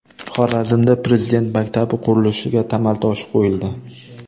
Xorazmda Prezident maktabi qurilishiga tamal toshi qo‘yildi.